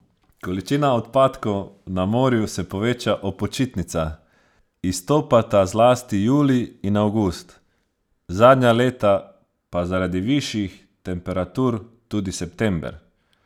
Količina odpadkov na morju se poveča ob počitnicah, izstopata zlasti julij in avgust, zadnja leta pa zaradi višjih temperatur tudi september.